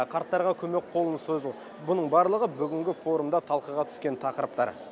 қарттарға көмек қолын созу бұның барлығы бүгінгі форумда талқыға түскен тақырыптар